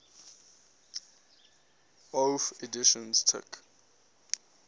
bofh editions took